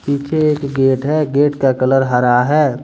पीछे एक बेड है बेड का कलर हरा है।